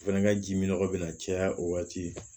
O fɛnɛ ka ji mi nɔgɔ bɛ na caya o waati